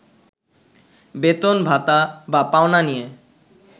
বেতন-ভাতা বা পাওনা নিয়ে